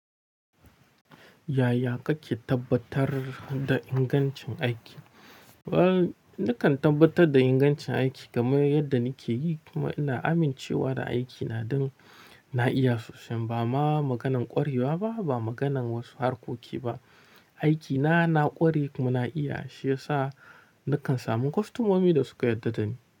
Yaya kake tabbatar da ingancin aiki? Ni kan tabbatar da ingancin aiki game yadda nike yi kuma ina amincewa da aikina ɗin na iya sosai. Ba ma maganan ƙwarewa ba, ba maganan wasu harkoki ba. Aikina na ƙware kuma na iya shi yasa nakan samu kostomomi da suka yarda da ni.